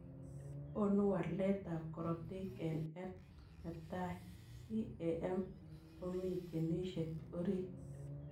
Konuu waleet ap korotik eng L netai CAM komii ginisiek oriit.